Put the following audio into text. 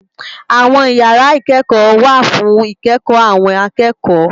Awòn ìyàrá ikèékò wá fún ikèékò áwòn àkèékò